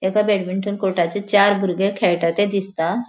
एक बॅडमिंटन कोर्टाचे चार भुर्गे खेळटा ते दिसता.